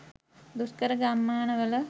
දුෂ්කර ගම්මානවල